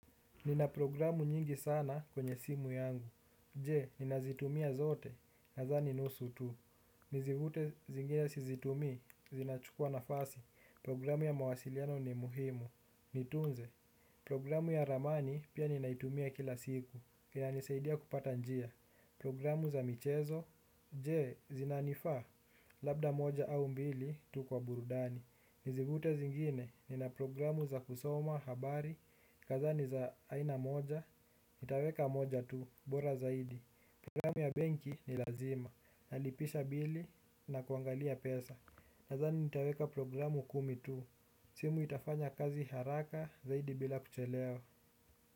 Nina programu nyingi sana kwenye simu yangu, je, ninazitumia zote, nadhani nusu tu. Nizivute zingine sizitumii, zinachukua nafasi, programu ya mawasiliano ni muhimu, nitunze. Programu ya ramani pia ninaitumia kila siku, inanisaidia kupata njia. Programu za michezo, je, zinanifaa? Labda moja au mbili, tu kwa burudani. Nizifute zingine, nina programu za kusoma habari, nadhani za aina moja, nitaweka moja tu, bora zaidi. Programu ya benki ni lazima, nalipisha bili na kuangalia pesa. Nadhani nitaweka programu kumi tu, simu itafanya kazi haraka zaidi bila kuchelewa.